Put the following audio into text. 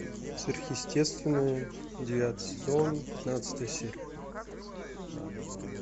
сверхъестественное девятый сезон пятнадцатая серия